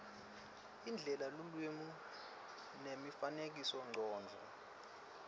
indlela lulwimi nemifanekisomcondvo